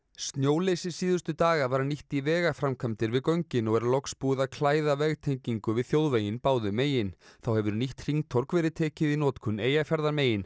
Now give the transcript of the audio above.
snjóleysi síðustu daga var nýtt í vegaframkvæmdir við göngin og er loks búið að klæða vegtengingu við þjóðveginn báðum megin þá hefur nýtt hringtorg verið tekið í notkun Eyjafjarðarmegin